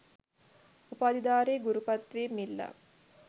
උපාධිධාරී ගුරු පත්වීම් ඉල්ලා